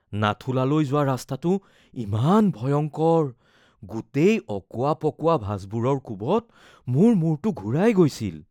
নাথুলালৈ যোৱা ৰাস্তাটো ইমান ভয়ংকৰ, গোটেই অকোৱা-পকোৱা ভাঁজবোৰৰ কোবত মোৰ মূৰটো ঘূৰাই গৈছিল।